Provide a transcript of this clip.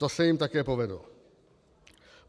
To se jim také povedlo.